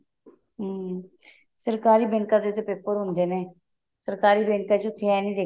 ਹਮ ਸਰਕਾਰੀ ਬੈੰਕਾਂ ਦੇ ਤਾਂ paper ਹੁੰਦੇ ਨੇ ਸਰਕਾਰੀ ਬੈੰਕਾਂ ਚ ਉੱਥੇ ਏਵੇਂ